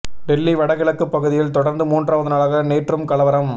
டெல்லி வடகிழக்குப் பகுதியில் தொடர்ந்து மூன்றாவது நாளாக நேற்றும் கலவரம்